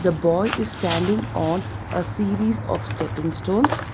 The boy is standing on a series of stepping stones.